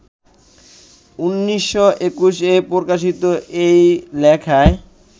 ১৯২১-এ প্রকাশিত এই লেখায়